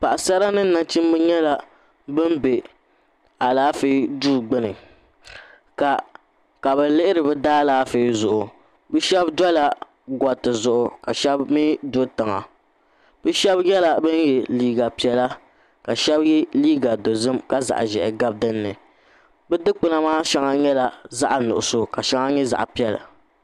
Paɣisara ni nachimba bɛ la alaafee duu gbuni ka bi lihiri bi daa alaafee zuɣu bi shɛba dola gariti zuɣu ka shɛba mi do tiŋa bi shɛba nyɛla bani ye liiga piɛlla ka shɛba ye liiga dozim ka zaɣi zɛhi gabi di ni bi dukpuna maa shɛŋa nyɛla zaɣi nuɣiso ka shɛŋa nyɛ zaɣi piɛlla.